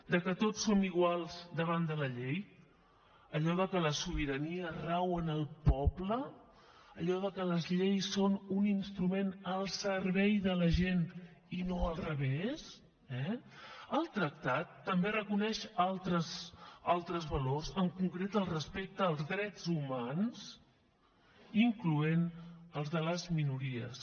de que tots som iguals davant de la llei allò de que la sobirania rau en el poble allò de que les lleis són un instrument al servei de la gent i no al revés eh el tractat també reconeix altres valors en concret el respecte als drets humans incloent hi els de les minories